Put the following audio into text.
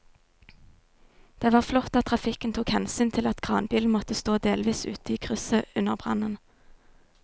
Det var flott at trafikken tok hensyn til at kranbilen måtte stå delvis ute i krysset under brannen.